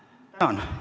Tänan!